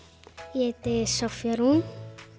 ég heiti Soffía Rún